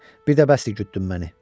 Bir də bəsdir gütdün məni.